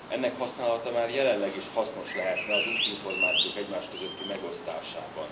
Ennek használata már jelenleg is hasznos lehetne az útinformációk egymás közötti megosztásában.